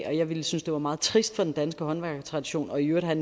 og jeg ville synes det var meget trist for den danske håndværkertradition og i øvrigt have